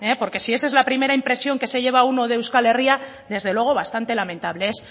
porque si esa es la primera impresión que se lleva uno de euskal herria desde luego bastante lamentable es